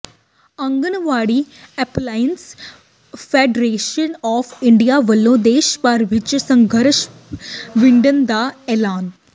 anganwadi employees federation of India ਵੱਲੋਂ ਦੇਸ਼ ਭਰ ਵਿੱਚ ਸੰਘਰਸ਼ ਵਿੱਢਣ ਦਾ ਐਲਾਨ